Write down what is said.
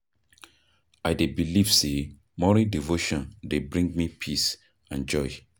I dey believe say morning devotion dey bring me peace and joy.